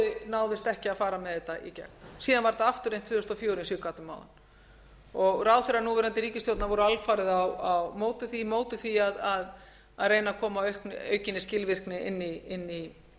náðist ekki að fara með þetta í gegn síðan var þetta aftur reynt tvö þúsund og fjögur eins og ég gat um áðan ráðherrar núverandi ríkisstjórnar voru alfarið á móti því á móti því að reyna að koma á aukinni skilvirkni inn í